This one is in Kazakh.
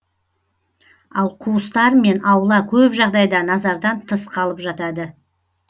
ал қуыстар мен аула көп жағдайда назардан тыс қалып жатады